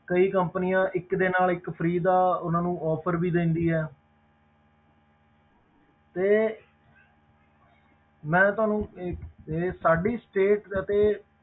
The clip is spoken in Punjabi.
ਕਈ companies ਇੱਕ ਦੇ ਨਾਲ ਇੱਕ free ਦਾ ਉਹਨਾਂ ਨੂੰ offer ਵੀ ਦਿੰਦੀ ਹੈ ਤੇ ਮੈਂ ਤੁਹਾਨੂੰ ਇਹ ਇਹ ਸਾਡੀ state ਅਤੇ